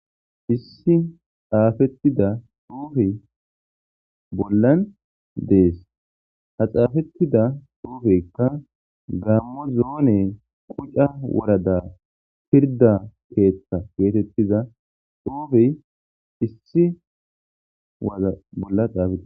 issi xaafettida xuufe bollan dees ha xaafettida dhuufekka gammo zoone quca warada pirda keeththa geetettiza xuufey issi waza bolla xaafeetides